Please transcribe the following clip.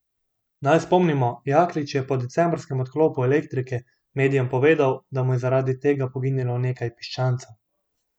Naj spomnimo, Jaklič je po decembrskem odklopu elektrike medijem povedal, da mu je zaradi tega poginilo nekaj piščancev.